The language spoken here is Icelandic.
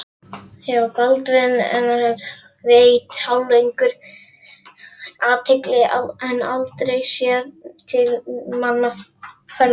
Baldvin hafði veitt hjáleigunni athygli en aldrei séð til mannaferða.